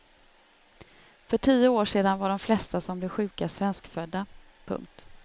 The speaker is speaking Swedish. För tio år sedan var de flesta som blev sjuka svenskfödda. punkt